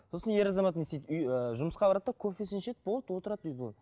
сосын ер азамат не істейді үй ы жұмысқа барады да кофесін ішеді болды отырады үйге